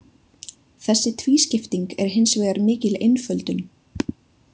Þessi tvískipting er hins vegar mikil einföldun.